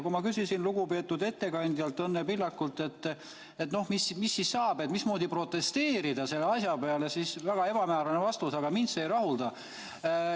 Kui ma küsisin lugupeetud ettekandjalt, Õnne Pillakult, et mis siis saab, mismoodi protesteerida selle asja vastu, siis sain väga ebamäärase vastuse ja mind see ei rahulda.